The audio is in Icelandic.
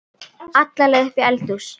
alla leið upp í eldhús.